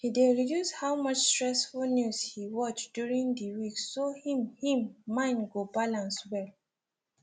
he dey reduce how much stressful news he watch during the week so him him mind go balance well